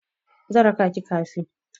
Zan raka ki kafe.